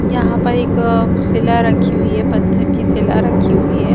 यहाँ पर एक शिला रखी हुई है पत्थर की शिला रखी हुई है।